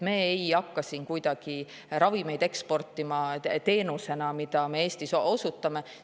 Me ei hakka siin kuidagi eksportima ravimeid teenusena, mida me Eestis osutame.